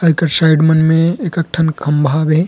एकर side मन में एकक ठन खंभा हवे।